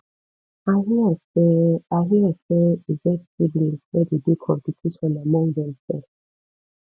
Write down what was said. i hear sey i hear sey e get siblings wey dey do competition among themsef